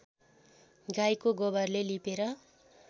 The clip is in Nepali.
गाईको गोबरले लिपेर